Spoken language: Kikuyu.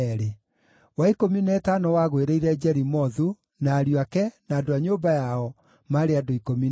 wa ikũmi na ĩtano wagũĩrĩire Jerimothu, na ariũ ake, na andũ a nyũmba yao, maarĩ andũ 12;